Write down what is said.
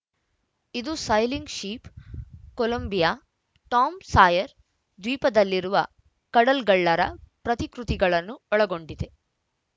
ಇದು sailing ship Columbia Tom Sawyer ದ್ವೀಪದಲ್ಲಿರುವ ಕಡಲ್ಗಳ್ಳರ ಪ್ರತಿಕೃತಿಗಳನ್ನು ಒಳಗೊಂಡಿದೆ